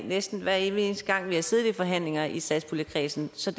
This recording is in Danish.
næsten hver evig eneste gang vi har siddet i forhandlinger i satspuljekredsen så